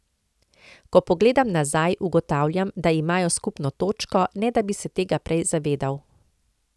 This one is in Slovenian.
Ko pogledam nazaj, ugotavljam, da imajo skupno točko, ne da bi se tega prej zavedal.